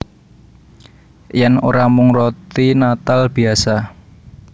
Yèn ora mung roti natal biyasa